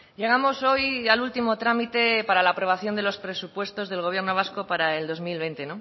llegamos hoy al último trámite para la aprobación de los presupuestos del gobierno vasco para el dos mil veinte